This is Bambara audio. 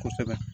Kosɛbɛ